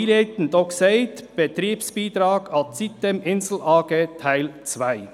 Deshalb habe ich denn einleitend auch vom Betriebsbeitrag Teil 2 an die sitem-Insel AG gesprochen.